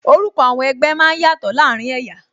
Orúkọ àwọn ẹgbẹ́ máa ń yàtò láàárín ẹ̀yà